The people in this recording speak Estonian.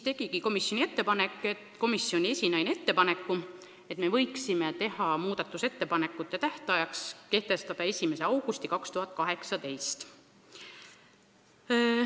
Komisjoni esinaine tegigi ettepaneku, et muudatusettepanekute tähtajaks võiks kehtestada 1. augusti 2018.